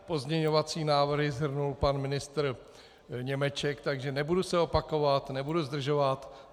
Pozměňovací návrhy shrnul pan ministr Němeček, takže nebudu se opakovat, nebudu zdržovat.